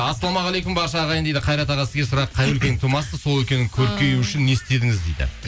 ассалаумағалейкум барша ағайын дейді қайрат аға сізге сұрақ қай өлкенің тумасысыз сол өлкенің көркеюі үшін не істедіңіз дейді